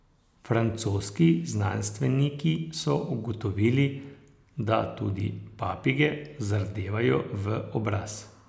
Francoski znanstveniki so ugotovili, da tudi papige zardevajo v obraz.